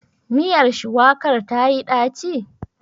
Miyar shuwakar tayi ɗaci?